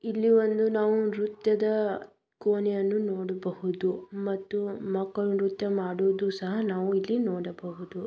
ಇಲ್ಲಿ ಒಂದು ನಾವು ನೃತ್ಯದ ಕೋಣೆಯನ್ನು ನೋಡಬಹುದು ಮತ್ತು ಮಕ್ಕಳು ನೃತ್ಯ ಮಾಡೋದು ಸಹಾ ನಾವು ಇಲ್ಲಿ ನೋಡಬಹುದು.